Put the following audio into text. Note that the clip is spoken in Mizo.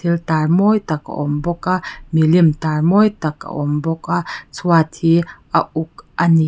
tar mawi tak a awm bawk a milim tar mawi tak a awm bawk a chhuat hi a uk a ni.